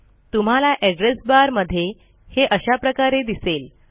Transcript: तुम्हाला address bar मध्ये हे अशा प्रकारे दिसेल